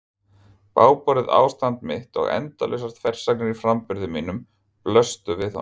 Bágborið ástand mitt og endalausar þversagnir í framburði mínum blöstu við honum.